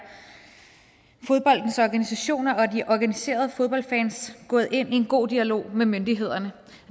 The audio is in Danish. fodboldens organisationer og de organiserede fodboldfans gået ind i en god dialog med myndighederne